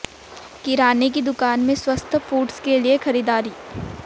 किराने की दुकान में स्वस्थ फूड्स के लिए खरीदारी